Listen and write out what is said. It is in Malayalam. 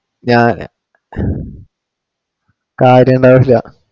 ഞാനില്ല കാര്യം എന്താ വെച്ച